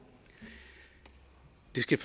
skal